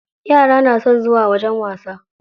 Yara na son zuwa wajen wasa.